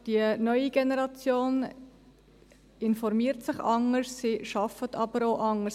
Die neue Generation informiert sich anders, sie arbeitet aber auch anders.